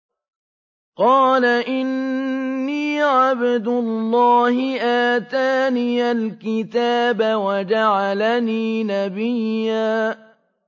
قَالَ إِنِّي عَبْدُ اللَّهِ آتَانِيَ الْكِتَابَ وَجَعَلَنِي نَبِيًّا